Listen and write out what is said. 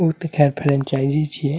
ऊ ते खैर फ्रेंचाइजी छिये।